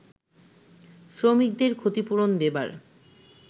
শ্রমিকদের ক্ষতিপূরণ দেবার